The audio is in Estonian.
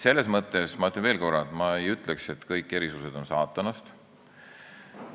Selles mõttes, ma ütlen veel korra, ma ei ütleks, et kõik erisused on saatanast.